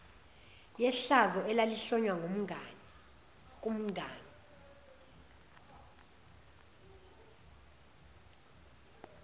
yehlazo elalihlonywa kumngani